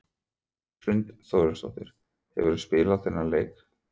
Hrund Þórsdóttir: Hefurðu spilað þennan leik?